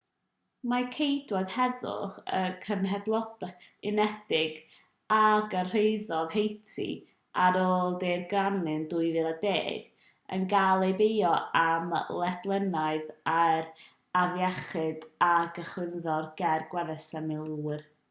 mae ceidwaid heddwch y cenhedloedd unedig a gyrhaeddodd haiti ar ôl daeragryn 2010 yn cael eu beio am ledaeniad yr afiechyd a gychwynnodd ger gwersyll y milwyr